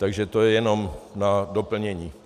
Takže to je jenom na doplnění.